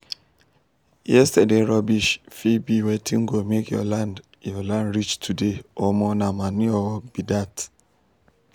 yesterday rubbish fit be wetin go make your land your land rich today omo nah manure work be that.